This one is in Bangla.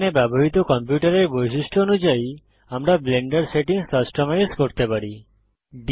এখানে ব্যবহৃত কম্পিউটারের বৈশিষ্ট্য অনুযায়ী আমরা ব্লেন্ডার সেটিংস কাস্টমাইজ করতে পারি